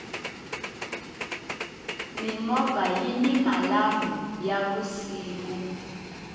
mimovha yini malambhu ya vusiku